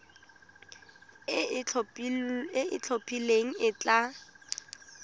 e e itlhophileng e tla